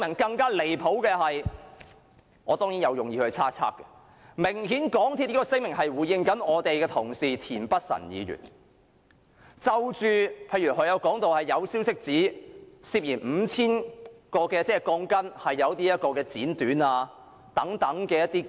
更離譜的是，我當然是有意猜測，港鐵公司這項聲明明顯是針對我們的同事田北辰議員，例如他曾說有消息指涉嫌有 5,000 條鋼筋被剪短等。